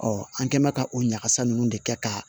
an kɛ mɛn ka o ɲagasa nunnu de kɛ ka